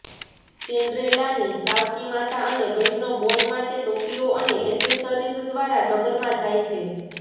સિન્ડ્રેલાની સાવકી માતા અને બહેનો બોલ માટે ટોપીઓ અને એસેસરીઝ દ્વારા નગરમાં જાય છે